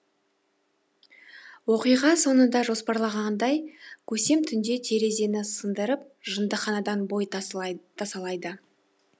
оқиға соңында жоспарлағандай көсем түнде терезені сындырып жындыханадан бой тасалайды